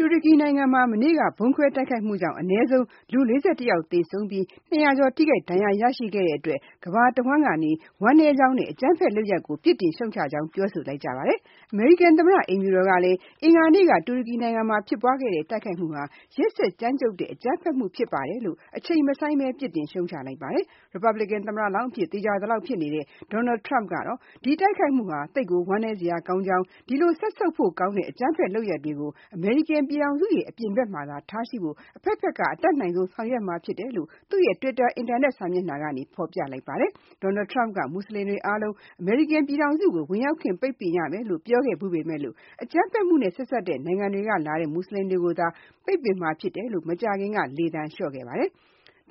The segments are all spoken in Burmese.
တူရကီနိုင်ငံမှာ မနေ့က ဗုံးခွဲတိုက်ခိုက်မှုကြောင့် အနည်းဆုံး လူ ၄၁ ယောက်သေဆုံးပြီး ၂၀၀ ကျော် ထိခိုက် ဒဏ်ရာရခဲ့တဲ့အတွက် ကမ္ဘာတဝန်းကနေ ဝမ်းနည်းကြောင်းနဲ့ အကြမ်းဖက်လုပ်ရပ်ကို ပြစ်တင်ရှုတ်ချကြောင်း ပြောဆိုလိုက်ကြပါတယ်။ အမေရိကန်သမ္မတ အိမ်ဖြူတော်ကလည်း အင်္ဂါနေ့က တူရကီနိုင်ငံမှာဖြစ်ပွားခဲ့တဲ့ တိုက်ခိုက်မှုဟာ ရက်စက်ကြမ်းကြုတ်တဲ့ အကြမ်းဖက်မှု ုဖြစ်ပါတယ်လို့ အချိန်မဆိုင်းဘဲ ပြစ်တင်ရှုတ်ချလိုက်ပါတယ်။ Republican သမ္မတလောင်းအဖြစ်သေချာသလောက်ဖြစ်နေတဲ့ Donal Trump ကတော့ ဒီတိုက်ခိုက်မှုဟာ သိပ်ကိုဝမ်းနည်းစရာကောင်းကြောင်း၊ ဒီလိုစက်ဆုပ်ဖို့ကောင်းတဲ့ အကြမ်းဖက် လုပ်ရပ်တွေကို အမေရိကန်ပြည်ထောင်စုရဲ့ အပြင်ဘက်မှာသာထားရှိဖို့ အဘက်ဘက်က အတတ်နိုင်ဆုံးဆောင်ရွက်မှဖြစ်မယ်လို့ သူ့ရဲ့ Twitter အင်တာနက်စာမျက်နှာ ကနေ ဖေါ်ပြ လိုက်ပါ တယ်။ Donald Trump က မူဆလင်တွေအားလုံး အမေရိကားကို ဝင်ရောက်ခွင့်ပိတ်ပင်ရမယ်လို့ ပြောခဲ့ဘူးပေမဲ့ အကြမ်းဖက်မှုနဲ့ ဆက်စပ်တဲ့ နိုင်ငံတွေကလာတဲ့ မူဆလင်တွေကိုသာ ပိတ်ပင်မှာဖြစ်တယ်လို့ မကြားခင်က လေသံလျှော့ခဲ့ပါတယ်။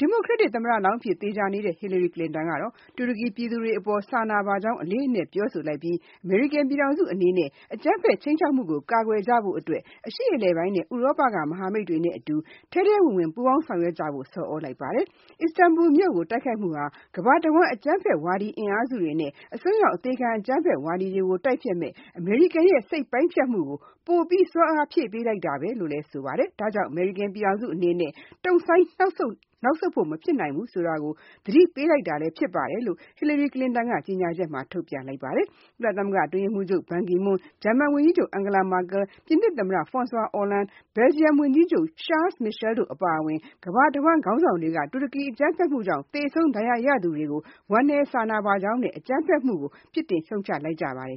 Democratic သမ္မတလောင်းအဖြစ်သေချာသလောက်ဖြစ်နေတဲ့ Hillary Clinton ကတော့ တူရကီပြည်သူတွေအပေါ် စာနာပါကြောင်းအလေးအနက်ပြောဆိုလိုက်ပြီး၊ အမေရိကန်ပြည်ထောင်စုအနေနဲ့ အကြမ်းဘက်ခြိမ်းခြောက်မှုကို ကာကွယ်ကြဖို့ အတွက် အရှေ့အလယ်ပိုင်းနဲ့ ဥရောပက မဟာမိတ်တွေနဲ့ အတူ ထဲထဲဝင်ဝင် ပူးပေါင်းဆောင်ရွက်ကြဖို့ဆော်သြလိုက်ပါတယ်။ အစ္စတန်ဘူလ်မြို့ကို တိုက်ခိုက်မှုဟာ ကမ္ဘာတဝန်း အကြမ်းဖက်ဝါဒအင်အားစုတွေနဲ့ အစွန်းရောက် အသေခံအကြမ်းဖက်ဝါဒကို တိုက်ဖျက်မယ့် အမေရိကန်ရဲ့ စိတ်ပိုင်းဖြတ်မှုကို ပိုပြီး စွမ်းအားဖြည့်ပေးလိုက်တာပါဘဲ။ ဒါကြောင့် အမေရိကန်အနေနဲ့ တုန့်ဆိုင်းနောက်ဆုတ်နေလို့ မဖြစ်ဘူးဆိုတာကို သတိပေးလိုက်တာ လည်းဖြစ်ပါတယ်လို့ Hillary Clinton ကကြေညာချက်ထုတ်ပြန်လိုက်ပါတယ်။ ကုလသမဂ္ဂအတွင်းရေးမှူးချုပ်ဘန်ကီမွန်း၊ ဂျာမန်ဝန်ကြီးချုပ် Angela Markel, ပြင်သစ်သမ္မတ Francois Hollande, Belgium ဝန်ကြီးချုပ် Charles Michel တို့အပါအဝင် ကမ္ဘာတဝန်း ခေါင်းဆောင်တွေက တူရကီအကြမ်းဖက်မှုကြောင့် သေဆုံး၊ ဒဏ်ရာရသူတွေကို ဝမ်းနည်းကြောင်းနဲ့ အကြမ်းဖက်မှုကို အပြစ်တင်ရှုတ်ချလိုက်ကြပါတယ်